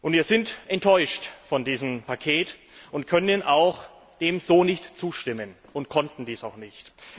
Wir sind enttäuscht von diesem Paket und können ihm auch nicht zustimmen und konnten dies auch nicht.